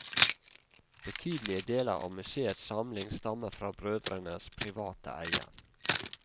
Betydelige deler av museets samling stammer fra brødrenes private eie.